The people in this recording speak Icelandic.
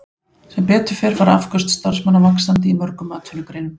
Sem betur fer fara afköst starfsmanna vaxandi í mörgum atvinnugreinum.